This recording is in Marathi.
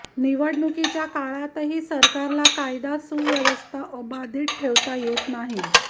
निवडणुकीच्या काळातही सरकारला कायदा सुव्यवस्था अबाधित ठेवता येत नाही